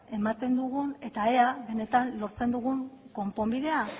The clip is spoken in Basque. ematen diogun eta ea benetan lortzen dugun konponbidea